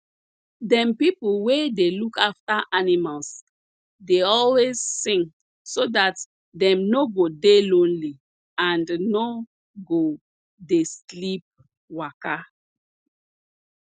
dem pipo wey dey look afta animals dey always sing so dat dem no go dey lonely and no go dey sleep waka